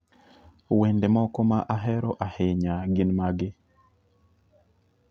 Wende moko ma ahero ahinya gin magi